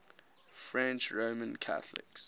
french roman catholics